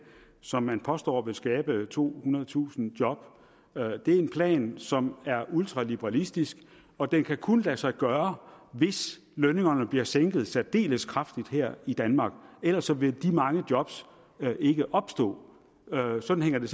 som man påstår vil skabe tohundredetusind job at det er en plan som er ultraliberalistisk og den kan kun lade sig gøre hvis lønningerne bliver sænket særdeles kraftigt her i danmark ellers vil de mange job ikke opstå sådan hænger det